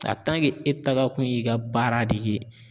e taga kun y'i ka baara de ye